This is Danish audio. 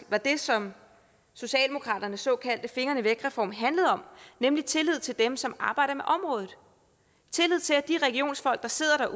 var det som socialdemokraternes såkaldte fingrene væk reform handlede om nemlig tillid til dem som arbejder med området og tillid til at de regionsfolk der sidder